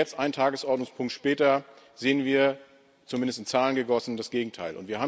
Und jetzt einen Tagesordnungspunkt später sehen wir, zumindest in Zahlen gegossen, das Gegenteil.